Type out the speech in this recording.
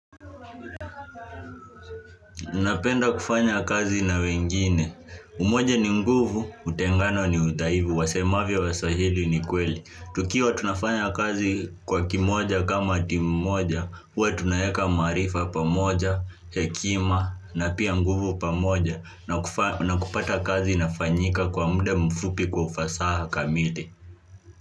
Unapenda kufanya kazi na wengine Umoja ni nguvu, utengano ni udhaifu. Wasemavyo Waswahili ni kweli tukiwa tunafanya kazi kwa kimoja kama timu moja huwa tunaeka maarifa pamoja, hekima na pia nguvu pamoja na kupata kazi inafanyika kwa muda mfupi kwa ufasaha kamili.